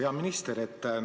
Hea minister!